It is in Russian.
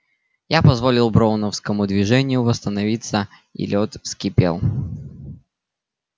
я позволил броуновскому движению восстановиться и лёд вскипел